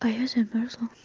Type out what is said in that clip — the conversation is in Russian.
а я замёрзла